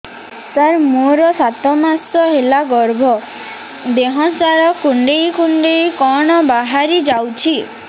ସାର ମୋର ସାତ ମାସ ହେଲା ଗର୍ଭ ଦେହ ସାରା କୁଂଡେଇ କୁଂଡେଇ କଣ ବାହାରି ଯାଉଛି